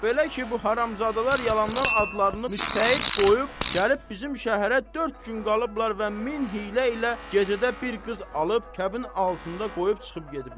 Belə ki, bu haramzadalar yalandan adlarını müctəhid qoyub, gəlib bizim şəhərə dörd gün qalıblar və min hiylə ilə gecədə bir qız alıb kəbin altında qoyub çıxıb gediblər.